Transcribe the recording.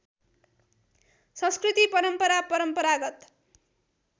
संस्कृति परम्परा परम्परागत